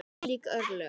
Ólík örlög.